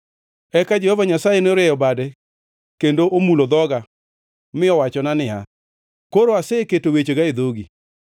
Eka Jehova Nyasaye norieyo bade kendo omulo dhoga mi owachona niya, “Koro, aseketo wechega e dhogi.